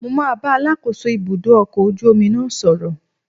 Mo máa bá Alákóso ibùdó ọkọ̀ ojú omi náà sọ̀rọ̀